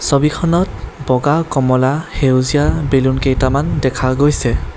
ছবিখনত বগা কমলা সেউজীয়া বেলুন কেইটামান দেখা গৈছে।